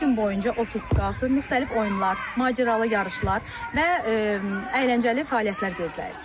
Üç gün boyunca 30 skautu müxtəlif oyunlar, macəralı yarışlar və əyləncəli fəaliyyətlər gözləyir.